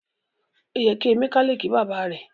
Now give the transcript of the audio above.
O yẹ kí Emeka le ki baba rẹ.